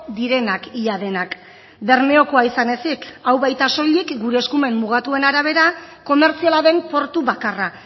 direnak ia denak bermeokoa izan ezik hau baita soilik gure eskumen mugatuen arabera komertziala den portu bakarra